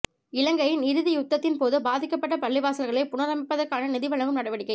இலங்கையின் இறுதி யுத்தத்தின்போது பாதிக்கப்பட்ட பள்ளிவாசல்களை புனரமைப்பதற்கான நிதி வழங்கும் நடவடிக்கை